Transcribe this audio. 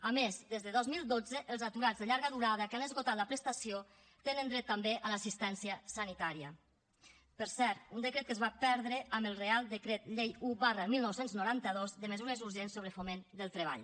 a més des de dos mil dotze els aturats de llarga durada que han esgotat la prestació tenen dret també a l’assistència sanitària per cert un decret que es va perdre amb el real decret llei un dinou noranta dos de mesures urgents sobre foment del treball